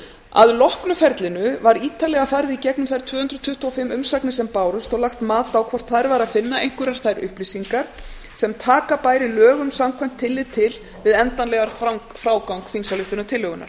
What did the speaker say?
að loknu ferlinu var ítarlega farið í gegnum þær tvö hundruð tuttugu og fimm umsagnir sem bárust og lagt mat á hvort þar væri að finna einhverjar nýjar upplýsingar sem taka bæri lögum samkvæmt tillit til við endanlegan frágang þingsályktunartillögunnar